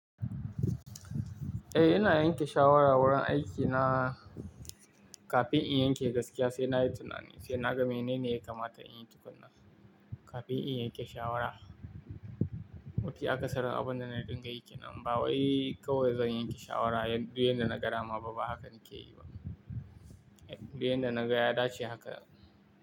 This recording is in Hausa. Eh, ina yanke shawara wurin aikina kafin in yanke gaskiya, sai na yi tunani, sai na ga menene ya kamata in yi tukuna kafin in yanke shawara. Iya akasari abun da na riƙa yake nan ba wai kawai zan yanke shawara duk yadda na ga dama ba, haka na ke yi ba. Duk yadda na ga, ya dace haka.